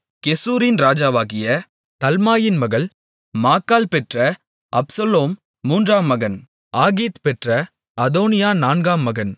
கெசூரின் ராஜாவாகிய தல்மாயின் மகள் மாக்காள் பெற்ற அப்சலோம் மூன்றாம் மகன் ஆகீத் பெற்ற அதோனியா நான்காம் மகன்